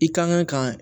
I kan ka ka